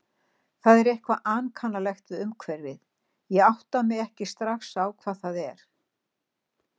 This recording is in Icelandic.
Það er eitthvað ankannalegt við umhverfið, ég átta mig ekki strax á hvað það er.